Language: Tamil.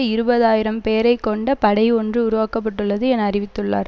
இருபது ஆயிரம் பேரை கொண்ட படை ஒன்று உருவாக்க பட்டுள்ளது என அறிவித்துள்ளார்